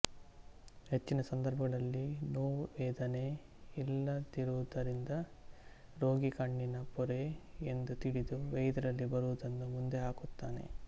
ಹೆಚ್ಚಿನ ಸಂದರ್ಭಗಳಲ್ಲಿ ನೋವು ವೇದನೆ ಇಲ್ಲದಿರುವುದರಿಂದ ರೋಗಿ ಕಣ್ಣಿನ ಪೊರೆ ಎಂದು ತಿಳಿದು ವೈದ್ಯರಲ್ಲಿ ಬರುವುದನ್ನು ಮುಂದೆ ಹಾಕುತ್ತಾನೆ